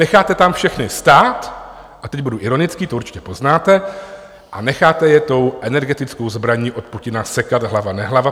Necháte tam všechny stát - a teď budu ironický, to určitě poznáte - a necháte je tou energetickou zbraní od Putina sekat hlava nehlava?